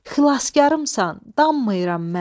Xilaskarımsan, danmayıram mən.